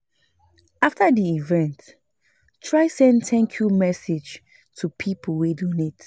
After di event try send 'thank you' message to pipo wey donate